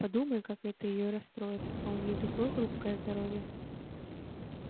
подумай как это её расстроит а у неё такое хрупкое здоровье